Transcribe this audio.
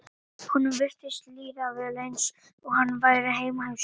Honum virtist líða vel eins og hann væri heima hjá sér.